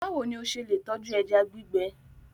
Báwo ni o ṣe lè tọ́jú ẹja gbígbẹ?